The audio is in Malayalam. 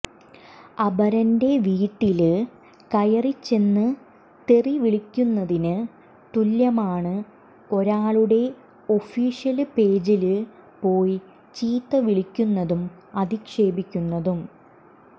അപരന്റെ വീട്ടില് കയറിച്ചെന്ന് തെറി വിളിക്കുന്നതിന് തുല്യമാണ് ഒരാളുടെ ഒഫീഷ്യല് പേജില് പോയി ചീത്ത വിളിക്കുന്നതും അധിക്ഷേപിക്കുന്നതും